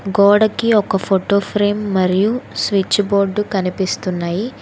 గోడకి ఒక photo frame మరియు స్విచ్ బోర్డు కనిపిస్తున్నాయి.